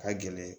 Ka gɛlɛn